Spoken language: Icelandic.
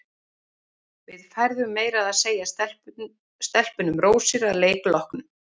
Við færðum meira að segja stelpunum rósir að leik loknum.